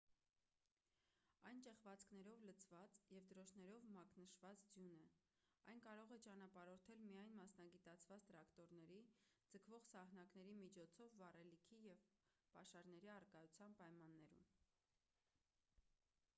այն ճեղքվածքներով լցված և դրոշներով մակնշված ձյուն է այն կարող է ճանապարհորդել միայն մասնագիտացված տրակտորների ձգվող սահնակների միջոցով վառելիքի և պաշարների առկայության պայմաններում